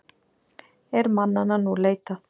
Er mannanna nú leitað.